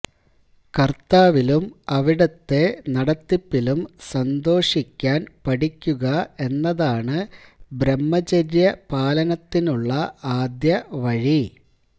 കര്ത്താവിലും അവിടുത്തെ നടത്തിപ്പിലും സന്തോഷിക്കാന് പഠിക്കുക എന്നതാണ് ബ്രഹ്മചര്യ പാലനത്തിലുള്ള ആദ്യ വഴി